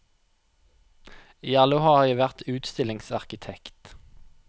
I alle år har jeg vært utstillingsarkitekt.